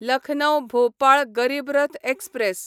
Lucknow Bhopal Garib Rath express